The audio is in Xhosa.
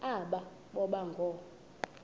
aba boba ngoo